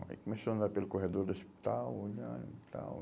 Aí começou a andar pelo corredor do hospital, olhando e tal.